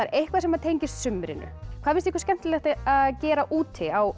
eitthvað sem tengist sumrinu hvað finnst ykkur skemmtilegt að gera úti á